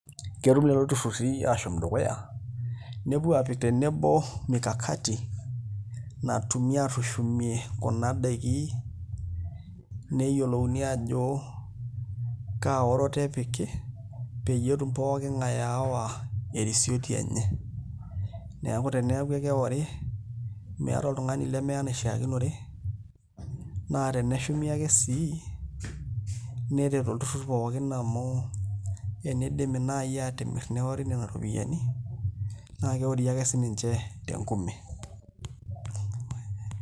Ketum lelo turruri aashom dukuya nepuo aapik tenebo mikakati natumi aatushumie kuna daiki neyiolouni ajo kaa oroto epiki peyie etumoki pooki ng'ae aawa erisioti enye neeku teneeku ekewori meeta oltung'ani lemeya enaishiakinore naa teneshumi ake sii neret olturrur pooki amu enidimi naai aatimirr neori nena ropiyiani naa keori ake sininche tenkume.